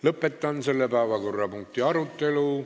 Lõpetan selle päevakorrapunkti arutelu.